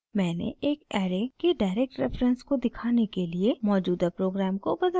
मैंने एक ऐरे के direct reference को दिखाने के लिए मौजूदा प्रोग्राम को बदल दिया है